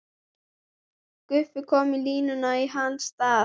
Guffi kominn á línuna í hans stað!